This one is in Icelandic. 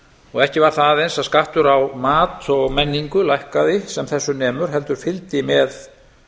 og ekki var það aðeins að skattur á mat og menningu lækkaði sem þessu nemur heldur fylgdi með